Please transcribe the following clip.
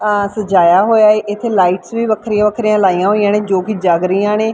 ਆਹ ਸਜਾਇਆ ਹੋਇਆ ਏ ਇੱਥੇ ਲਾਈਟਸ ਵੀ ਵੱਖਰੀਆਂ ਵੱਖਰੀਆਂ ਲਾਈਆਂ ਹੋਈਆਂ ਨੇ ਜੋ ਕਿ ਜੱਗ ਰਹੀਆਂ ਨੇਂ।